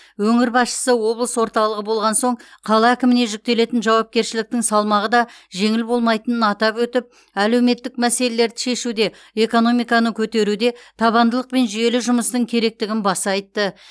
өңір басшысы облыс орталығы болған соң қала әкіміне жүктелетін жауапкершіліктің салмағы да жеңіл болмайтынын атап өтіп әлеуметтік мәселелерді шешуде экономиканы көтеруде табандылық пен жүйелі жұмыстың керектігін баса айтты